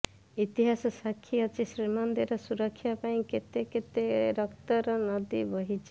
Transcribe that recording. ଇତିହାସ ସାକ୍ଷୀ ଅଛି ଶ୍ରୀମନ୍ଦିରର ସୁରକ୍ଷା ପାଇଁ କେତେ କେତେ ରକ୍ତର ନଦୀ ବହିଛି